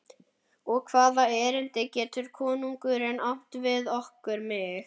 Og hvaða erindi getur konungurinn átt við okkur, mig?